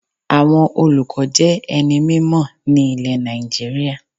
Àwọn olùkọ́ jé ẹni mímò ní ilè Nàìjíríà